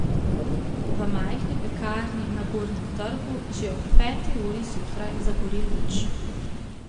V majhni pekarni na Gornjem trgu že ob peti uri zjutraj zagori luč.